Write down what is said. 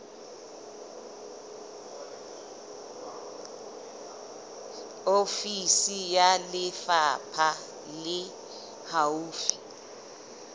ofisi ya lefapha le haufi